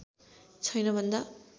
छैन भन्दा